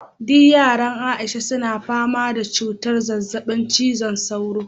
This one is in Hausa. duk yaran aisha suna fama da cutar zazzabin cizon sauro